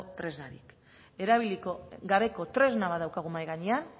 tresnari erabili gabeko tresna bat daukagu mahai gainean